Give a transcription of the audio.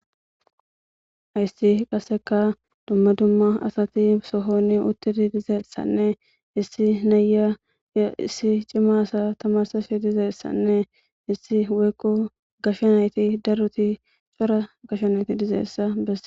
Hayssi qaseka dumma dumma asati sohoni uttidi dizeessanne issi naya yo issi cimma asa tamarsafi dizeessanne issi weykko gashshanayti daruti cora gashanayti dizeessa besse